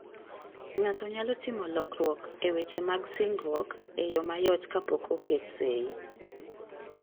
Ng'ato nyalo timo lokruok e weche mag singruok e yo mayot kapok oket sei.